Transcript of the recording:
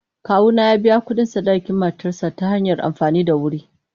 Kawuna ya biya kuɗin sadakin matarsa ​​ta hanyar amfani da wuri.